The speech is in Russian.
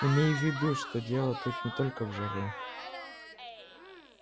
имей в виду что дело тут не только в жаре